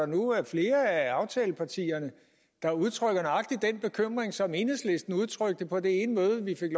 nu er flere af aftalepartierne der udtrykker nøjagtig den bekymring som enhedslisten udtrykte på det ene møde vi fik